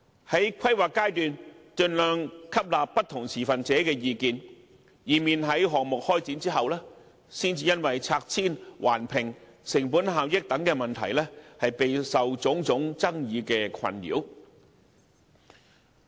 在規劃階段，盡量吸納不同持份者的意見，以免在項目開展後，才因拆遷、環評、成本效益等問題，備受種種爭議困擾。